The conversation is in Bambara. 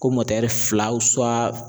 Ko fila